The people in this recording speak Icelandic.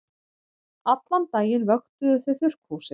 Allan daginn vöktuðu þau þurrkhúsið.